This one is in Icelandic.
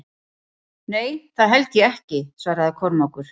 Nei, það held ég ekki, svaraði Kormákur.